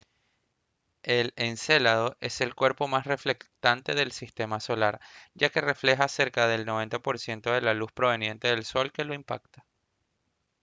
el encélado es el cuerpo más reflectante del sistema solar ya que refleja cerca del 90 por ciento de la luz proveniente del sol que lo impacta